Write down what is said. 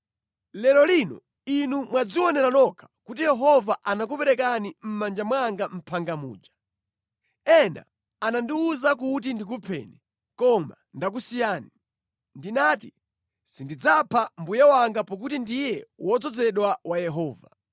Lero lino inu mwadzionera nokha kuti Yehova anakuperekani mʼmanja mwanga mʼphanga muja. Ena anandiwuza kuti ndikupheni, koma ndakusiyani. Ndinati, ‘Sindidzapha mbuye wanga pakuti ndiye wodzozedwa wa Yehova.’